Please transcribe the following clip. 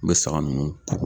N bɛ saga nunnu ko.